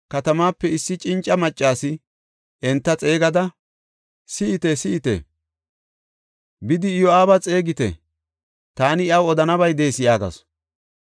katamaape issi cinca maccasi enta xeegada, “Si7ite! Si7ite! Bidi, Iyo7aaba xeegite. Taani iyaw odanabay de7ees” yaagasu.